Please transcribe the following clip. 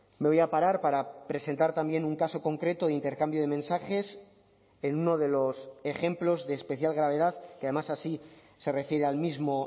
me voy a parar para presentar también un caso concreto de intercambio de mensajes en uno de los ejemplos de especial gravedad que además así se refiere al mismo